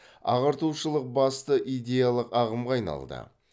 ағартушылық басты идеялық ағымға айналды